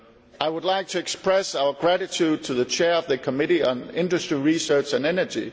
I would like to express our gratitude to the Chair of the Committee on Industry, Research and Energy